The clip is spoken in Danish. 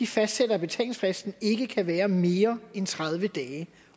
fastsætter at betalingsfristen ikke kan være mere end tredive dage